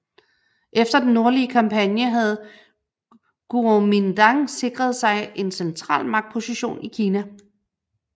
Efter den nordlige kampagne havde Guomindang sikret sig en central magtposition i Kina